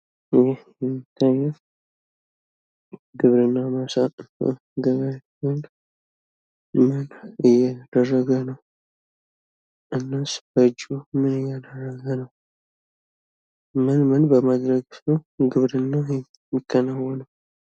ይህ የምታዩት ግብርና ማሳ ገበሬ ሲሆን ምን እያደረገ ነው? እናስ በእጁ ምን እያደረገ ነው? ምንምን በማድረግ ነው ግብርና የሚከናወነው?